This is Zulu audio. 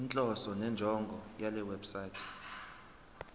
inhloso nenjongo yalewebsite